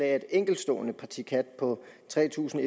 af et enkeltstående parti khat på tre tusind